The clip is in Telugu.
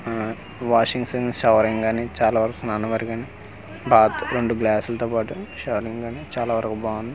ఆ వాషింగ్స్ అండ్ షవరింగ్స్ అని బాత్ రెండు గ్లాసులతో పాటు షవరింగ్స్ అని చాలా వరకు బాగుంది .